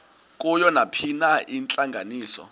kuyo nayiphina intlanganiso